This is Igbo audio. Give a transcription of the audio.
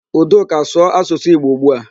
Udoka, sụọ asụsụ Igbo ugbu a!